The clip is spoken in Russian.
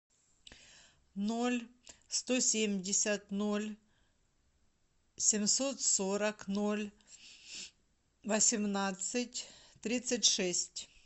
ноль сто семьдесят ноль семьсот сорок ноль восемнадцать тридцать шесть